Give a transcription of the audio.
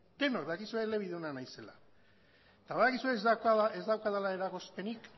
denok dakizue elebiduna naizela eta badakizue ez daukadala eragozpenik